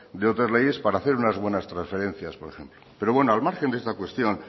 de otras leyes para hacer unas buenas transferencias por ejemplo pero bueno al margen de esta cuestión